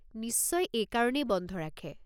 নিশ্চয় এইকাৰণেই বন্ধ ৰাখে!